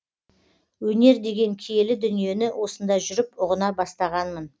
өнер деген киелі дүниені осында жүріп ұғына бастағанмын